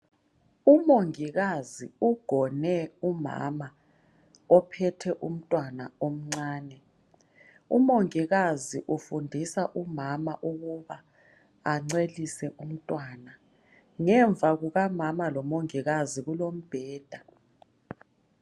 Umongikazi ugone umama ophethe umntwana omncane. Umongikazi ufundisa umama ukuba ancelise umntwana. Ngemva kukamama lomongikazi kulombheda.